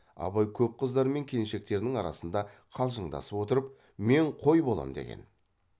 абай көп қыздар мен келіншектердің арасында қалжыңдасып отырып мен қой болам деген